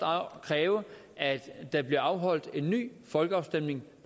kræve at der bliver afholdt en ny folkeafstemning